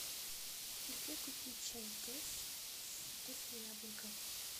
где купить чай тесс со вкусом яблока